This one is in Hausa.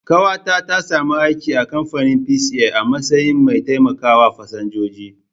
Ƙawata ta sami aiki a kamfanin Peace Air a matsayin mai taimakawa fasinjoji